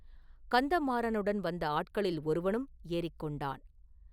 கந்தமாறனுடன் வந்த ஆட்களில் ஒருவனும் ஏறிக் கொண்டான்.